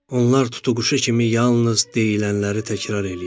Onlar tutuquşu kimi yalnız deyilənləri təkrar eləyirlər.